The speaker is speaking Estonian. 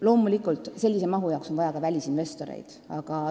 Loomulikult, sellise mahu jaoks on vaja ka välisinvestoreid.